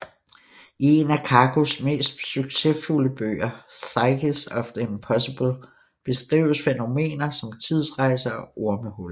I en af Kakus mest succesfulde bøger Physics of the Impossible beskrives fænomener som tidsrejser og ormehuller